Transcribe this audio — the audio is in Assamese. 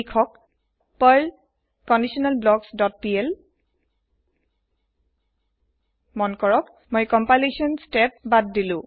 লিখক পাৰ্ল কণ্ডিশ্যনেলব্লকছ ডট পিএল লখ্য কৰকঃ মই কম্পালেসন স্তেপ বাদ দিলু